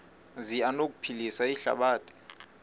zi anokuphilisa ihlabathi